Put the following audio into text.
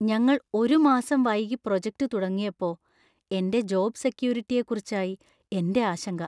ഞങ്ങൾ ഒരു മാസം വൈകി പ്രോജക്ട് തുടങ്ങിയപ്പോ , എന്‍റെ ജോബ് സെക്യൂരിറ്റിയെക്കുറിച്ചായി എന്‍റെ ആശങ്ക.